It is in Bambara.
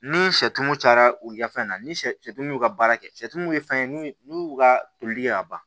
Ni sɛtumu cayara u ka fɛn na ni sɛw y'u ka baara kɛ sɛtu min ye fɛn ye n'u y'u ka tolili kɛ ka ban